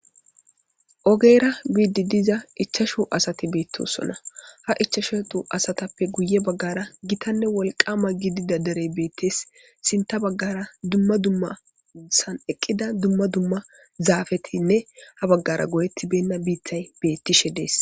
Ogeera guiidi diza ichashu asati beettosonna ha ichashutu asatappe guye baggara gitanne wolqama gidida derey beettees sinta baggara dumma dummasan eqqida dumma dumma zaafetinne ha baggara goyettibenna biithay beettishe dees.